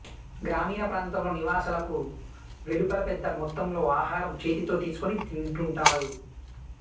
గ్రామీణప్రాంతంలో నివాసాలకు వెలుపల పెద్ద మొత్తంలో ఆహారం చేతితో తీసుకుని తింటుంటారు